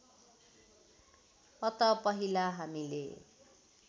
अत पहिला हामीले